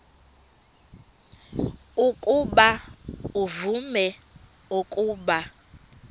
ukuba uvume ukuba